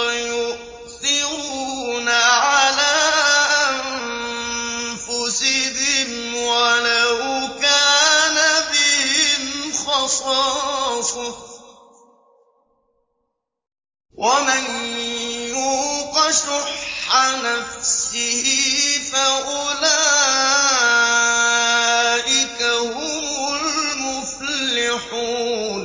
وَيُؤْثِرُونَ عَلَىٰ أَنفُسِهِمْ وَلَوْ كَانَ بِهِمْ خَصَاصَةٌ ۚ وَمَن يُوقَ شُحَّ نَفْسِهِ فَأُولَٰئِكَ هُمُ الْمُفْلِحُونَ